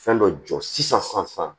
Fɛn dɔ jɔ sisan